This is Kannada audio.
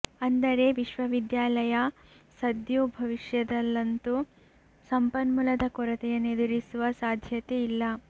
ಅಂದರೆ ವಿಶ್ವವಿದ್ಯಾಲಯ ಸದ್ಯೋ ಭವಿಷ್ಯದಲ್ಲಂತೂ ಸಂಪನ್ಮೂಲದ ಕೊರತೆಯನ್ನು ಎದುರಿಸುವ ಸಾಧ್ಯತೆ ಇಲ್ಲ